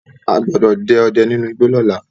A gbọ́dọ̀ dẹ ọdẹ nínú igbó lóla